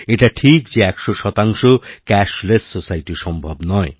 এটা ঠিক যে একশো শতাংশক্যাশলেস সোসাইটি সম্ভব নয়